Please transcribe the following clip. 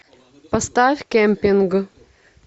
поставь кемпинг